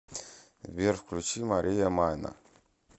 сбер включи мария майна